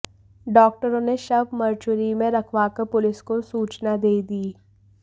डॉक्टरों ने शव मरचुरी में रखवाकर पुलिस को सूचना दे दी